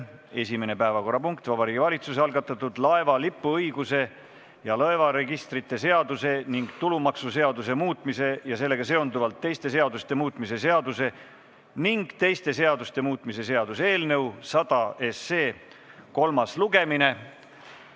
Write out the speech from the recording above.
Esimene päevakorrapunkt on Vabariigi Valitsuse algatatud laeva lipuõiguse ja laevaregistrite seaduse ning tulumaksuseaduse muutmise ja sellega seonduvalt teiste seaduste muutmise seaduse ning teiste seaduste muutmise seaduse eelnõu 100 kolmas lugemine.